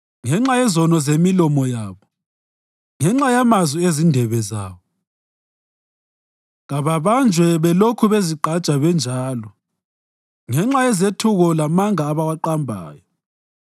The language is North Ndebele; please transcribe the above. Ngenxa yezono zemilomo yabo, ngenxa yamazwi ezindebe zabo, kababanjwe belokhu bezigqaja benjalo. Ngenxa yezethuko lamanga abawaqambayo,